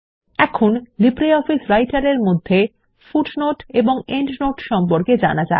এখন জানা যাক কিভাবে নথিতে পাদটীকা এবং প্রান্তটীকা যোগ করা যায়